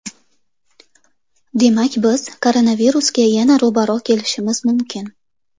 Demak biz koronavirusga yana ro‘baro‘ kelishimiz mumkin.